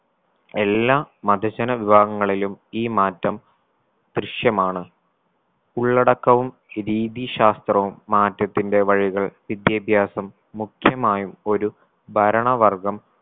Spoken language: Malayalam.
എല്ലാ മതജന വിഭാഗങ്ങളിലും ഈ മാറ്റം ദൃശ്യമാണ് ഉള്ളടക്കവും രീതീശാസ്ത്രവും മാറ്റത്തിന്റെ വഴികൾ വിദ്യാഭ്യാസം മുഖ്യമായും ഒരു ഭരണ വർഗം